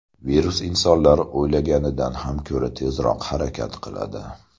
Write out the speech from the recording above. Virus insonlar o‘ylagandan ham ko‘ra tezroq harakat qiladi.